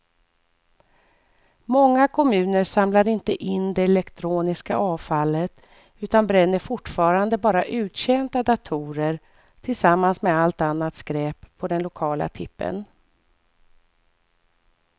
Många kommuner samlar inte in det elektroniska avfallet utan bränner fortfarande bara uttjänta datorer tillsammans med allt annat skräp på den lokala tippen.